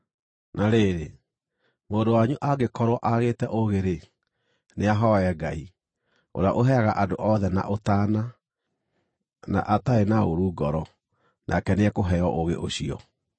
Na rĩrĩ, mũndũ wanyu angĩkorwo aagĩte ũũgĩ-rĩ, nĩahooe Ngai, ũrĩa ũheaga andũ othe na ũtaana, na atarĩ na ũũru ngoro, nake nĩekũheo ũũgĩ ũcio.